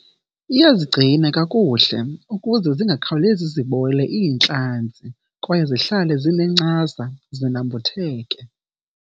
Iyazigcina kakuhle ukuze zingakhawulezi zibole iintlanzi kwaye zihlale zinencasa, zinambitheke.